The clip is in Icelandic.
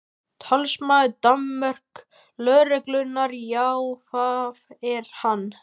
Talsmaður dönsku lögreglunnar: Já, það er hann?